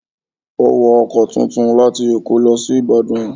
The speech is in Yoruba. O wọ ọkọ̀ tuntun láti èkó lọ sí Ìbàdàn